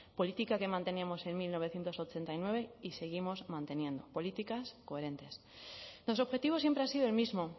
política que manteníamos en mil novecientos ochenta y nueve y seguimos manteniendo políticas coherentes los objetivos siempre ha sido el mismo